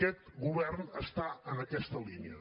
aquest govern està en aquesta línia